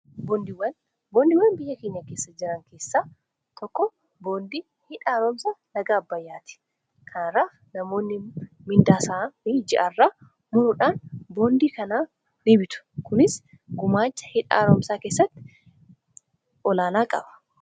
Boondiiwwan. Boondiiwwan biyya keenya keessa jiran keessa tokko boondii hidha haaroomsaa laga Abbayyaati. Kana irraa namoonni mindaa isaanii ji'aa irraa muruudhaan boondii kana ni bitu. Kunis gumaacha hidha haaroomsaa keessatti olaanaa qaba.